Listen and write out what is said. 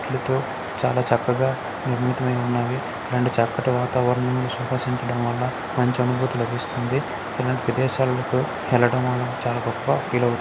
తో చాలా చక్కగా ఉన్నవి. ఇటువంటి చక్కని వాతావరణం సుఖసించడం వలన మంచి అనుభూతి లభిస్తుంది. ఇటువంటి ప్రదేశాలకు వెళ్లడం వలన చాలా గొప్ప --